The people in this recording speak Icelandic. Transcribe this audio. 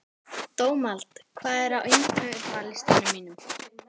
Dómald, hvað er á innkaupalistanum mínum?